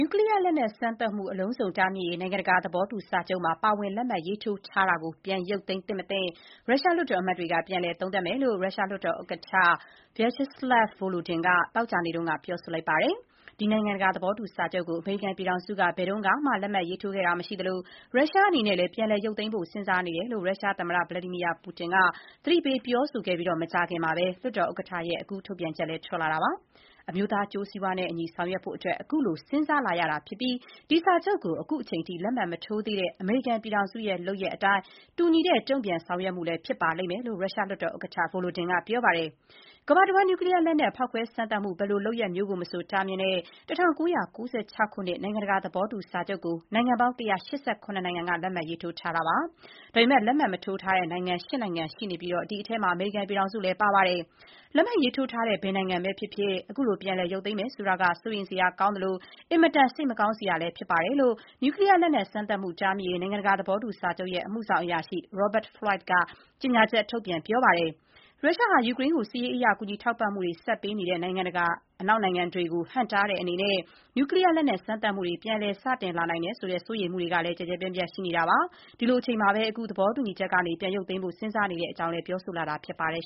ူကလီးယားလက်နက် စမ်းသပ်မှု အလုံးစုံ တားမြစ်ရေး နိုင်ငံတကာ သဘောတူစာချုပ်မှာ ပါဝင် လက်မှတ် ရေးထိုးထားတာကို ပြန်ရုပ်သိမ်းသင့်မသင့် ရုရှားလွှတ်တော်အမတ်တွေက ပြန်လည် သုံးသပ်မယ့်အကြောင်း ရုရှားလွှတ်တော်ဥက္ကဋ္ဌ Vyacheslav Volodin က သောကြာနေ့က ပြောဆိုလိုက်ပါတယ်။ ဒီနိုင်ငံတကာ သဘောတူစာချုပ်ကို အမေရိကန်ပြည်ထောင်စုက ဘယ်တုန်းကမှ လက်မှတ်ရေးထိုးခဲ့တာ မရှိသလို၊ ရုရှားအနေနဲ့လည်း ပြန်လည် ရုပ်သိမ်းဖို့ စဥ်းစားနေတယ်လို့ ရုရှားသမ္မတ Vladimir Putin က သတိပေး ပြောဆိုခဲ့ပြီး မကြာခင်မှာပဲ လွှတ်တော်ဥက္ကဋ္ဌရဲ့ ခုလို ထုတ်ပြန်ချက်လည်း ထွက်လာတာပါ။ အမျိုးသား အကျိုးစီးပွားနဲ့အညီ ဆောင်ရွက်ဖို့အတွက် ခုလို စဥ်းစားလာရတာဖြစ်ပြီး ဒီစာချုပ်ကို ခုချိန်ထိ လက်မှတ် မထိုးသေးတဲ့ အမေရိကန်ပြည်ထောင်စုရဲ့ လုပ်ရပ်အတိုင်း တူညီတဲ့ တုံ့ပြန် ဆောင်ရွက်မှုလည်း ဖြစ်ပါလိမ့်မယ်လို့ ရုရှား လွှတ်တော်ဥက္ကဋ္ဌ Volodin က ပြောပါတယ်။ ကမ္ဘာတဝန်း နျူကလီးယား လက်နက် ဖောက်ခွဲ စမ်းသပ်မှု ဘယ်လိုလုပ်ရပ်မျိုးကိုမဆို တားမြစ်တဲ့ ၁၉၉၆ ခုနှစ် နိုင်ငံတကာ သဘောတူစာချုပ်ကို နိုင်ငံပေါင်း ၁၈၇ နိုင်ငံက လက်မှတ် ရေးထိုးထားတာပါ။ ဒါပေမဲ့ လက်မှတ်မထိုးထားတဲ့ နိုင်ငံ ၈ နိုင်ငံရှိပြီး ဒီအထဲမှာ အမေရိကန်ပြည်ထောင်စုလည်း ပါ ပါတယ်။ လက်မှတ်ရေးထိုးထားတဲ့ ဘယ်နိုင်ငံပဲဖြစ်ဖြစ် ခုလို ပြန်လည် ရုပ်သိမ်းမယ်ဆိုတာက စိုးရိမ်စရာ ကောင်းသလို၊ အင်မတန် စိတ်မကောင်းစရာလည်း ဖြစ်ပါတယ်လို့ နျူကလီးယား လက်နက် စမ်းသပ်မှု တားမြစ်ရေး နိုင်ငံတကာသဘောတူ စာချုပ်အဖွဲ့ရဲ့ အမှုဆောင်အရာရှိ Robert Floyd က ကြေညာချက် ထုတ်ပြန်ပါတယ်။ ရုရှားဟာ ယူကရိန်းကို စစ်ရေးအရ ကူညီထောက်ပံ့မှုတွေ ဆက်ပေးနေတဲ့ အနောက်နိုင်ငံတွေကို ဟန့်တားတဲ့အနေနဲ့ နျူကလီးယား လက်နက် စမ်းသပ်မှုတွေ ပြန်လည် စတင်လာနိုင်တယ်ဆိုတဲ့ စိုးရိမ်မှုတွေကလည်း ကျယ်ကျယ်ပြန့်ပြန့် ရှိနေတာပါ။ ဒီလိုအချိန်မှာပဲ သဘောတူစာချုပ်ကနေ ပြန်ရုပ်သိမ်းဖို့ စဥ်းစားနေတဲ့အကြောင်း ရုရှားက ပြောဆိုလာနေတာ ဖြစ်ပါတယ်